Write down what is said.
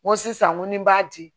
N ko sisan n ko ni n b'a di